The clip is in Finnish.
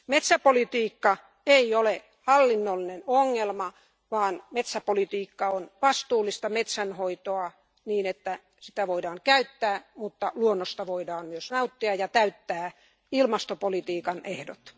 Metsäpolitiikka ei ole hallinnollinen ongelma, vaan metsäpolitiikka on vastuullista metsänhoitoa niin, että sitä voidaan käyttää, mutta luonnosta voidaan myös nauttia ja täyttää ilmastopolitiikan ehdot.